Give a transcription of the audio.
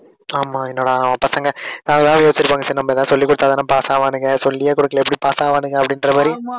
ஆமா, என்னடா நம்ம பசங்க அஹ் நான் எதாவது யோசிச்சிருப்பாங்க. சரி நம்ம ஏதாவது சொல்லிக் கொடுத்தாத்தானே pass ஆவானுங்க. சொல்லியே கொடுக்கலை எப்படி pass ஆவானுங்க அப்படின்ற மாதிரி